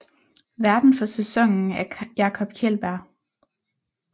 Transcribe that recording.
Værten for sæson er Jakob Kjeldbjerg